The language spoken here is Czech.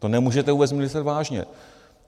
To nemůžete vůbec myslet vážně.